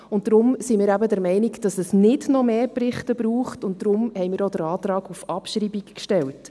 Deshalb sind wir der Meinung, dass es nicht noch mehr Berichte braucht, und darum haben wir auch den Antrag auf Abschreibung gestellt.